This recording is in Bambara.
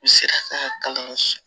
U sera ka kalan